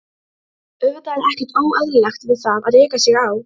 Auðvitað er ekkert óeðlilegt við það að reka sig á.